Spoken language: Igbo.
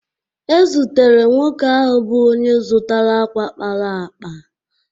E zutere nwoke ahụ bụ onye zụtara ákwà kpara akpa